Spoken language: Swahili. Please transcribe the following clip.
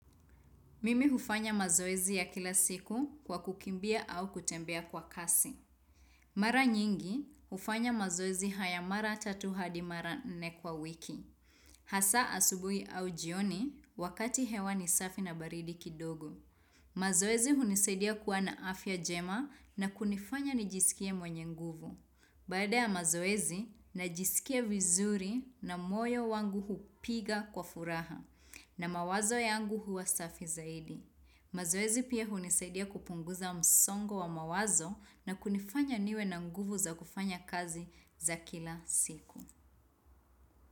Mimi hufanya mazoezi ya kila siku kwa kukimbia au kutembea kwa kasi. Mara nyingi, hufanya mazoezi haya mara tatu hadi mara nne kwa wiki. Hasa asubui au jioni, wakati hewa ni safi na baridi kidogo. Mazoezi hunisadia kuwa na afya jema na kunifanya nijisikie mwenye nguvu. Baada ya mazoezi, najisikia vizuri na moyo wangu hupiga kwa furaha na mawazo yangu huwa safi zaidi. Mazoezi pia hunisaidia kupunguza msongo wa mawazo na kunifanya niwe na nguvu za kufanya kazi za kila siku.